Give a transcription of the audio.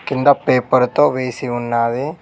కింద పేపర్ తో వేసి ఉన్నది.